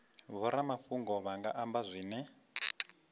vhoramafhungo vha nga amba zwine